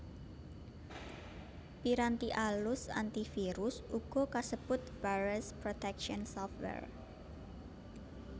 Piranti alus antivirus uga kasebut Virus protection software